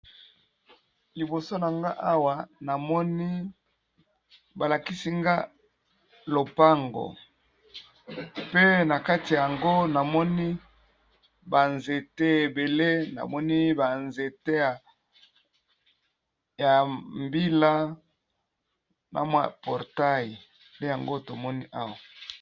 Liboso na nga awa namoni balakisi nga lopango pe nakati nango namoni ba nzete ebele namoni ba nzete ya mbila na portaille nde yango tomoni.